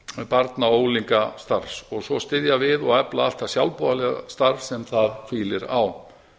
barna og unglingastarfs og svo styðja og efla við allt það sjálfboðaliðastarf sem það hvílir á